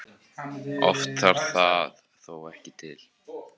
Oft þarf það þó ekki til.